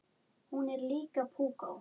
Hún er líka púkó.